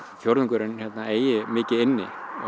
fjórðungurinn hérna eigi mikið inni